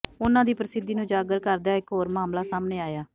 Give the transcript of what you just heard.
ਉਨ੍ਹਾਂ ਦੀ ਪ੍ਰਸਿੱਧੀ ਨੂੰ ਉਜਾਗਰ ਕਰਦਾ ਹੋਇਆ ਇੱਕ ਹੋਰ ਮਾਮਲਾ ਸਾਹਮਣੇ ਆਇਆ